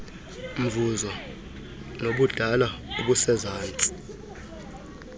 mvuzo nobudala obusezantsi